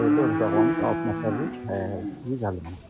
Dörd otaqlımız altı nəfərlik 150 manatdır.